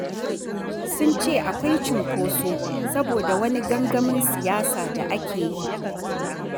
Sun ce akwai cunkoso saboda wani gangamin siyasa da ake yi.